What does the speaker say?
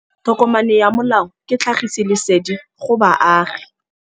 Tokomane ya molao ke tlhagisi lesedi go baagi.